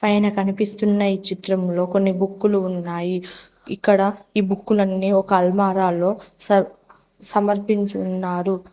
పైన కనిపిస్తున్న ఈ చిత్రంలో కొన్ని బుక్కులు ఇక్కడ ఈ బుక్కు లన్నీ ఒక అల్మారా లో సర్ధ్ సమర్పించి ఉన్నారు.